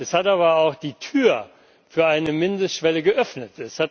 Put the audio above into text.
Es hat aber auch die Tür für eine Mindestschwelle geöffnet.